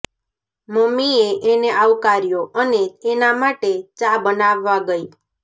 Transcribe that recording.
મમ્મીએ એને આવકાર્યો અને એના માટે ચા બનાવવા ગઈ